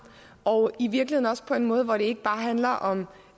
og i virkeligheden også på en måde hvor det ikke bare handler om